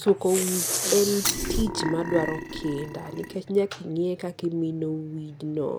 suko wich en tich madwaro kinda nikech nya ing'e kaka imino wijno